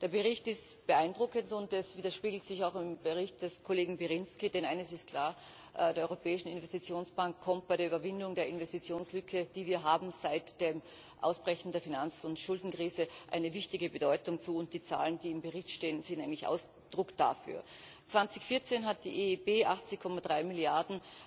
Der Bericht ist beeindruckend, und das spiegelt sich auch im Bericht des Kollegen Pirinski wieder, denn eines ist klar Der Europäischen Investitionsbank kommt bei der Überwindung der Investitionslücke, die wir seit dem Ausbrechen der Finanz und Schuldenkrise haben, eine wichtige Bedeutung zu, und die Zahlen, die im Bericht stehen, sind ein Ausdruck dafür. 2014 hat die EIB 80,3 Milliarden